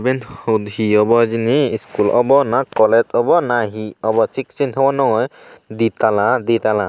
iyen hon he obo hijeni iskul obo na kolej obo na he obo thik sei hon naw pem di tala di tala.